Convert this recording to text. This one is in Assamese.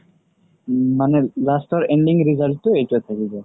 মানে last ৰ ending result তো এইটোৱে থাকিব